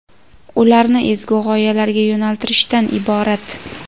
ularni ezgu g‘oyalarga yo‘naltirishdan iborat.